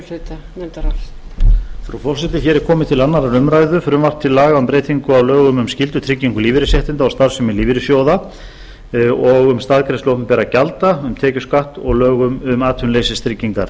frú forseti hér er komið til annarrar umræðu frumvarpi til laga um breytingu á lögum um skyldutryggingu lífeyrisréttinda og starfsemi lífeyrissjóða um staðgreiðslu opinberra gjalda um tekjuskatt og lög um atvinnuleysistryggingar